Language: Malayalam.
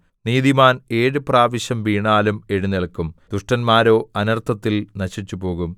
നീതിമാൻ ഏഴു പ്രാവശ്യം വീണാലും എഴുന്നേല്ക്കും ദുഷ്ടന്മാരോ അനർത്ഥത്തിൽ നശിച്ചുപോകും